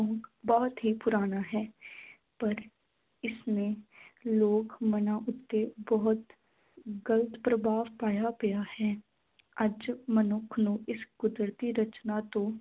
ਬਹੁਤ ਹੀ ਪੁਰਾਣਾ ਹੈ ਪਰ ਇਸਨੇ ਲੋਕ ਮਨਾਂ ਉੱਤੇ ਬਹੁਤ ਗਲਤ ਪ੍ਰਭਾਵ ਪਾਇਆ ਪਿਆ ਹੈ ਅੱਜ ਮਨੁੱਖ ਨੂੰ ਇਸ ਕੁਦਰਤੀ ਰਚਨਾ ਤੋਂ